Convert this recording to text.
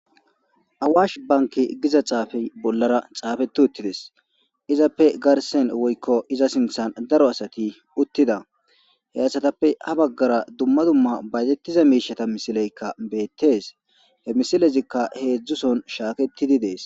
awaash banki giza xaafey bollara xaafeti uttides izappe garsen woykko iza sinthan daro asati uttida he asatappe ha baggara dumma dumma baytettiza miishata misileykka beettees he misilezikka heedzdzuson shaaketidi dees